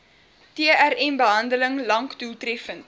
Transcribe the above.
trmbehandeling lank doeltreffend